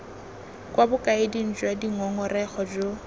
kwa bokaeding jwa dingongorego jo